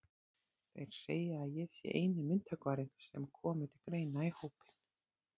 Þeir segja að ég sé eini myndhöggvarinn sem komi til greina í hópinn.